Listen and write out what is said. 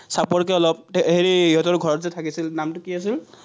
চাপৰকে অলপ, এই ইহঁতৰ ঘৰত যে থাকিছিল, নামটো কি আছিল?